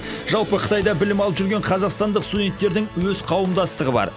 жалпы қытайда білім алып жүрген қазақстандық студентердің өз қауымдастығы бар